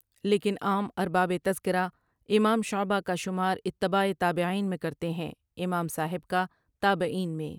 لیکن عام ارباب تذکرہ امام شعبہ کا شمار اتباعِ تابعین میں کرتے ہیں امام صاحب کا تابعین میں۔